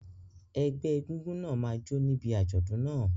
Ẹgbẹ́ egúngún náà máa jó níbi àjọ̀dún náà.